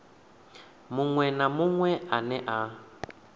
muṅwe na muṅwe ane a